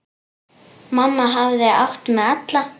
Mamma hafði átt mig alla.